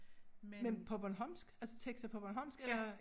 Men på bornholmsk altså tekster på bornholmsk eller?